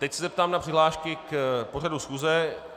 Teď se zeptám na přihlášky k pořadu schůze.